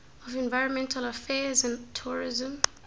of environmental affairs and tourism